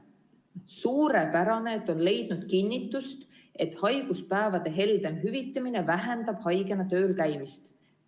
Suurepärane, et on leidnud kinnitust, et haiguspäevade heldem hüvitamine vähendab haigena tööl käimist.